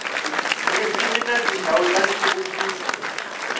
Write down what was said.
ririmi na tindhawu ta nhluvukiso